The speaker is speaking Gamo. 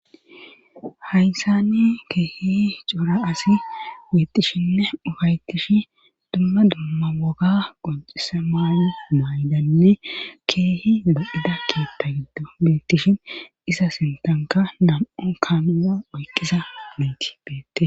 Hayssani keehi cora asi betishinne ufaytish dumma dumma woga qoncisa maay maydanne keehi de7ida kiyatta giddo beettishin isa sintanka nam7o kaamuna oyqqisa beeti beettes.